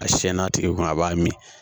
A siyɛn n'a tigi kun a b'a min